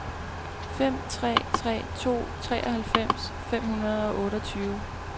fem tre tre to treoghalvfems fem hundrede og otteogtyve